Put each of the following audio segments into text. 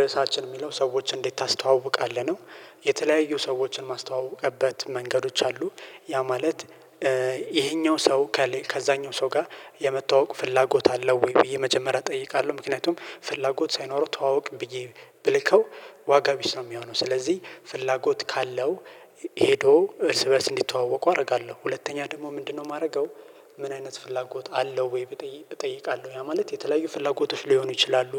ርዕሳችን የሚለው ሰዎችን እንዴት ታስተዋውቃለህ ነው? የተለያዩ ሰዎችን ማስተዋውቅበት መንገዶች አሉ። ያ ማለት ይሄኛው ሰው ከዛኛው ሰው ጋር የመተዋወቅ ፍላጎት አለው ወይ? ወይ መጀመሪያ እጠይቃለሁ ምክንያቱም ፍላጎት ሳይኖረው ተዋወቅ ብዬ ብለከው ዋጋ ቢስ ነው የሚሆነው። ስለዚህ ፍላጎት ካለው ሄዶ እርስ በእርስ እንዲተዋወቁ አደርጋለሁ። ሁለተኛ ደግሞ ምንድነው የማደርገው? ምን አይነት ፍላጎት አለው ወይ? እጠይቃለሁ ያ ማለት የተለያዩ ፍላጎቶች ሊሆኑ ይችላሉ።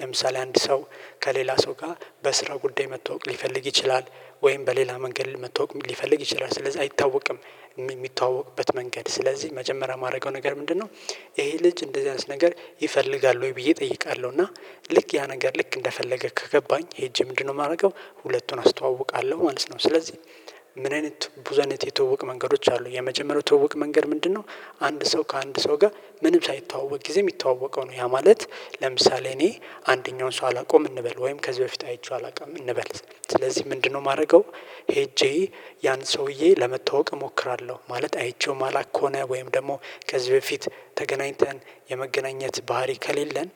ለምሳሌ አንድ ሰው ከሌላ ሰው ጋር በስራ ጉዳይ መተዋወቅ ሊፈልግ ይችላል። ወይም በሌላ መንገድ መተዋወቅ ሊፈልግ ይችላል ስለዚህ አይታወቅም። የሚተዋወቅበት መንገድ ስለዚህ መጀመሪያ የማደርገው ነገር ምንድነው? ይሄ ልጅ እንደዚህ አይነት ነገር ይፈልጋል ወይ ብዬ እጠይቃለሁ። እና ልክ ያ ነገር ልክ እንደፈለገ ከገባኝ ሄጄ ምንድነው የማደርገው ሁለቱን አስተዋውቃለሁ ማለት ነው። ስለዚህ። ምን አይነት ብዙ አይነት የትውውቅ መንገዶች አሉ የመጀመሪያው ትውቅ መንገድ ምንድነው? አንድ ሰው ከአንድ ሰው ጋር ምንም ሳይተዋወቅ ጊዜም ሚተዋወቀው ነው። ያ ማለት ለምሳሌ እኔ አንደኛውን ሰው አላውቀውም እንበል ወይም ከዚህ በፊት አይቼው አላውቀውም እንበል። ስለዚህ ምንድነው የማደርገው? ሄጄ ያን ሰውዬ ለመተዋወቅ እሞክራለሁ። ማለት አይቼው ማላቅ ከሆነ ወይም ደግሞ ከዚህ በፊት ተገናኝተን የመገናኘት ባህሪ ከሌለን።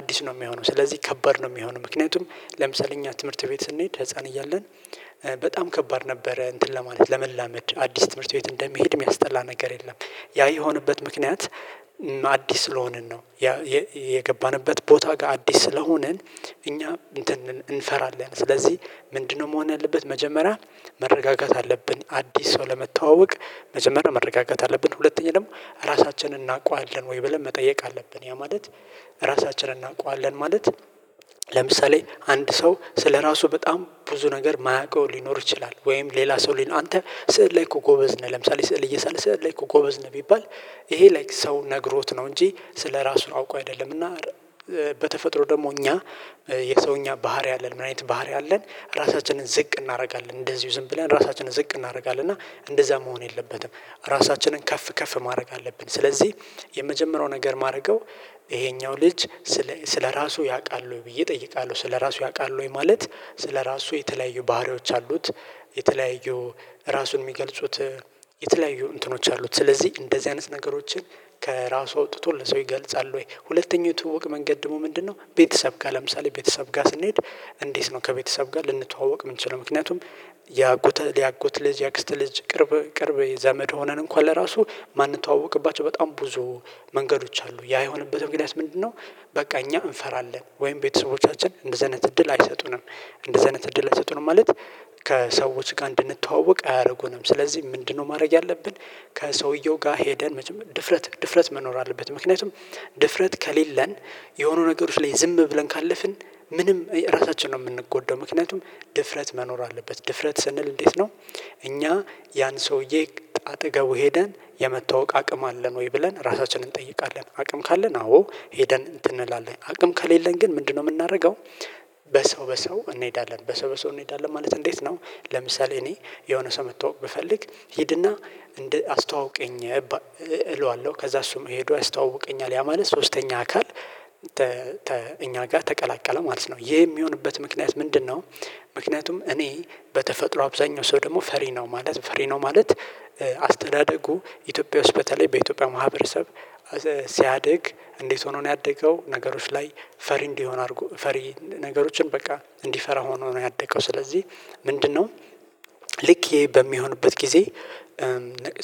አዲስ ነው የሚሆነው ስለዚህ ከባድ ነው የሚሆነው። ምክንያቱም ለምሳሌ እኛ ትምህርት ቤት ስንሄድ ህፃን እያለን በጣም ከባድ ነበረ እንትን ለማለት ለመላመድ አዲስ ትምህርት ቤት እንደሚሄድ የሚያስጠላ ነገር የለም። ያ የሆነበት ምክንያት አዲስ ስለሆንን ነው። የገባንበት ቦታ ጋር አዲስ ስለሆንን እኛ እንፈራለን። ስለዚህ ምንድነው መሆን ያለበት መጀመሪያ? መረጋጋት አለብን አዲስ ሰው ለመተዋወቅ መጀመሪያ መረጋጋት አለብን። ሁለተኛ ደግሞ ራሳችንን እናውቀዋለን ወይ ብለን መጠየቅ አለብን። ያ ማለት ራሳችንን እናውቀዋለን ማለት ለምሳሌ አንድ ሰው ስለራሱ በጣም ብዙ ነገር የማያውቀው ሊኖር ይችላል። ወይም ሌላ ሰው ሊኖር አንተ ስዕል ላይ እኮ ጎበዝ ነህ ለምሳሌ ስዕል እየሳለ ስዕል ላይ እኮ ጎበዝ ነው። ቢባል ይሄ ላይክ ሰው ነግሮት ነው እንጂ ስለራሱ አውቆ አይደለምና። በተፈጥሮ ደግሞ እኛ የሰው እኛ ባህሪ አለን ምን አይነት ባህሪ አለን? ራሳችንን ዝቅ እናደርጋለን እንደዚሁ ዝም ብለን ራሳችንን ዝቅ እናደርጋለን እና እንደዛ መሆን የለበትም። ራሳችንን ከፍ ከፍ ማድረግ አለብን። ስለዚህ የመጀመሪያው ነገር ማደርገው ይሄኛው ልጅ ስለ ስለራሱ ያውቃል ብዬ እጠይቃለሁ። ስለራሱ ያውቃል ወይ? ማለት ስለራሱ የተለያዩ ባህሪዎች አሉት። የተለያዩ ራሱን የሚገልጹት የተለያዩ እንትኖች አሉት ስለዚህ እንደዚህ አይነት ነገሮችን ከራሱ አውጥቶ ለሰው ይገልጻል። ወይ ሁለተኛው ትውውቅ መንገድ ደግሞ ምንድነው? ቤተሰብ ጋር ለምሳሌ ቤተሰብ ጋር ስንሄድ። እንዴት ነው ከቤተሰብ ጋር ልንተዋወቅ የምንችለው? ምክንያቱም ያጎት ያጎት ልጅ ያክስተ ልጅ ቅርብ ቅርብ የዘመድ ሆነን እንኳን ለራሱ ማንተዋወቅባቸው በጣም ብዙ። መንገዶች አሉ ያ የሆነበት እንግዲያስ ምንድነው? በቃ እኛ እንፈራለን ወይም ቤተሰቦቻችን እንደዚህ አይነት እድል አይሰጡንም። እንደዚህ አይነት እድል አይሰጡንም ማለት ከሰዎች ጋር እንድንተዋወቅ አያደርጉንም። ስለዚህ ምንድነው ማድረግ ያለብን? ከሰውየው ጋር ሄደን ድፍረት ድፍረት መኖር አለበት። ምክንያቱም ድፍረት ከሌለን የሆኑ ነገሮች ላይ ዝም ብለን ካለፍን። ምንም ራሳችንን ነው የምንጎዳው። ምክንያቱም ድፍረት መኖር አለበት። ድፍረት ስንል እንዴት? ነው እኛ ያን ሰውዬ አጠገቡ ሄደን የመተዋወቅ አቅም አለን ወይ ብለን ራሳችንን እንጠይቃለን። አቅም ካለን አዎ ሄደን እንትን እንላለን አቅም ከሌለን ግን ምንድነው የምናደርገው? በሰው በሰው እንሄዳለን በሰው በሰው እንሄዳለን ማለት እንዴት ነው? ለምሳሌ እኔ የሆነ ሰው መተዋወቅ ብፈልግ ሂድና እንደ አስተዋውቀኝ። ከዛ እሱም ሄዶ ያስተዋውቀኛል ያ ማለት ሶስተኛ አካል እኛ ጋር ተቀላቀለ ማለት ነው። ይሄ የሚሆንበት ምክንያት ምንድነው? ምክንያቱም እኔ በተፈጥሮ አብዛኛው ሰው ደግሞ ፈሪ ነው ማለት ፈሪ ነው ማለት። አስተዳደጉ ኢትዮጵያ ውስጥ በተለይ በኢትዮጵያ ማህበረሰብ። ሲያድግ እንዴት ሆኖ ነው ያደገው? ነገሮች ላይ ፈሪ እንዲሆን አድርጎ ፈሪ ነገሮችን በቃ እንዲፈራ ሆኖ ነው ያደገው። ስለዚህ ምንድነው? ልክ ይሄ በሚሆንበት ጊዜ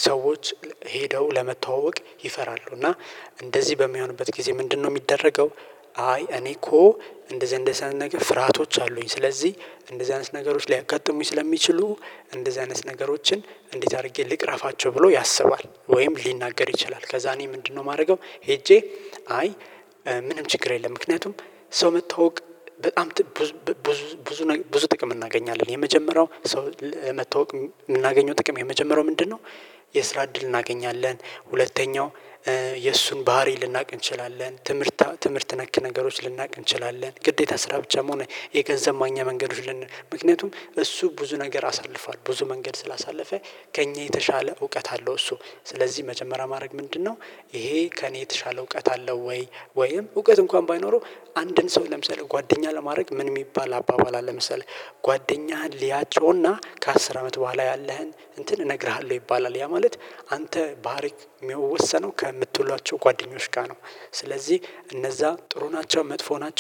ሰዎች ሄደው ለመተዋወቅ ይፈራሉ። እና እንደዚህ በሚሆንበት ጊዜ ምንድነው የሚደረገው? አይ እኔ እኮ እንደዚህ እንደዚህ አይነት ነገር ፍርሃቶች አሉኝ። ስለዚህ እንደዚህ አይነት ነገሮች ሊያጋጥሙኝ ስለሚችሉ እንደዚህ አይነት ነገሮችን እንዴት አድርጌ ልቅረፋቸው ብሎ ያስባል ወይም ሊናገር ይችላል። ከዛ እኔ ምንድነው የማደርገው? ሄጄ አይ ምንም ችግር የለም። ምክንያቱም ሰው መተዋወቅ በጣም ብዙ ብዙ ብዙ ጥቅም እናገኛለን። የመጀመሪያው ሰው በመተዋወቅ የምናገኘው ጥቅም የመጀመሪያው ምንድነው? የስራ እድል እናገኛለን። ሁለተኛው የእሱን ባህሪ ልናቅ እንችላለን። ትምህርት ትምህርት ነክ ነገሮች ልናውቅ እንችላለን። ግዴታ ስራ ብቻ መሆኑ የገንዘብ ማግኛ መንገዶች ልንል ምክንያቱም እሱ ብዙ ነገር አሳልፏል ብዙ መንገድ ስላሳለፈ ከእኛ የተሻለ እውቀት አለው። እሱ ስለዚህ መጀመሪያ ማድረግ ምንድነው? ከእኔ የተሻለ እውቀት አለው ወይ? ወይም እውቀት እንኳን ባይኖረው አንድን ሰው ለምሳሌ ጓደኛ ለማድረግ ምን የሚባል አባባል አለ መሰለህ? ጓደኛህን ሊያጮና ከአስር አመት በኋላ ያለህን እንትን እነግርሃለሁ ይባላል። ያ ማለት አንተ ባህሪ የሚወሰነው ከምትውሏቸው ጓደኞች ጋር ነው። ስለዚህ እነዛ ጥሩ ናቸው መጥፎ ናቸው